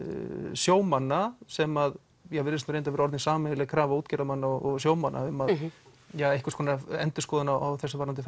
sjómanna sem að virðist nú reyndar vera orðin sameiginleg krafa útgerðarmanna og sjómanna um einhvers konar endurskoðun á þessu varðandi